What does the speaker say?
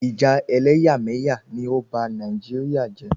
Ìjà ẹlẹ́yàmẹ̀yà ni ó ba Nàìjíríà jẹ́